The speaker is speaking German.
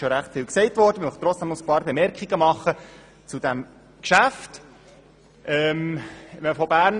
Ich möchte trotzdem noch einige Bemerkungen zu diesem Geschäft machen.